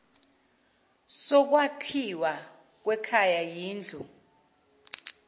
sokwakhiwa kwekhaya yindlu